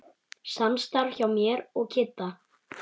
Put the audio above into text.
Samstarf hjá mér og Kidda?